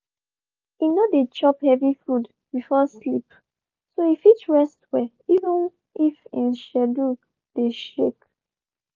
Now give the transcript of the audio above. e no dey chop heavy food before sleep so e fit rest well even if en schedule dey shake.